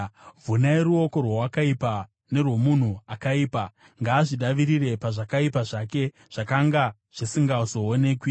Vhunai ruoko rweakaipa nerwomunhu akaipa; ngaazvidavirire pazvakaipa zvake zvakanga zvisingazoonekwi.